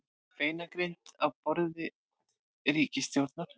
Beinagrind á borði ríkisstjórnar